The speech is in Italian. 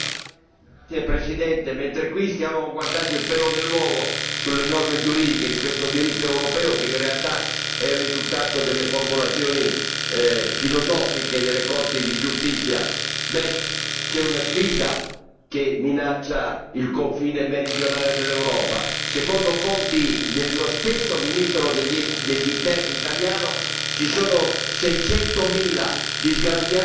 Signor Presidente, mentre stiamo qui a cercare il pelo nell'uovo sulle norme giuridiche di questo diritto europeo, che in realtà è il risultato delle formulazioni filosofiche delle Corti di giustizia, c'è una sfida che minaccia il confine meridionale dell'Europa. Secondo fonti dello stesso ministro degli Interni italiano, ci sono 600000 disgraziati